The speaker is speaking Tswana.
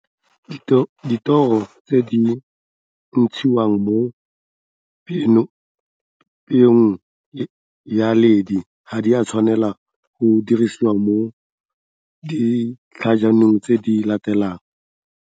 Dithoro tse di ntshiwang mo peong ya leidi ga di a tshwanela go dirisiwa mo ditlhajalong tse di latelang.